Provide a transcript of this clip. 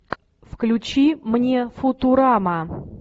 включи мне футурама